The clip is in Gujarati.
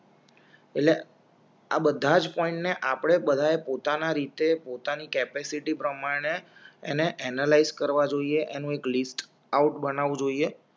એટલે આ બધા જ પોઈન્ટ ને આપણે બધાએ પોતા ના રીતે પોતાની કૅપેસિટી પ્રમાણે એને એનેલાઈઝ કરવા જોઈએનું એક લિસ્ટ આઉટ બનવું જોઈએ